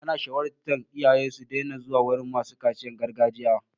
An shawartar iyaye su daina zuwa wurin masu kaciyan gargajiya.